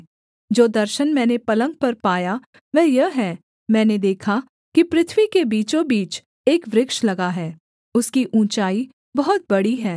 जो दर्शन मैंने पलंग पर पाया वह यह है मैंने देखा कि पृथ्वी के बीचोबीच एक वृक्ष लगा है उसकी ऊँचाई बहुत बड़ी है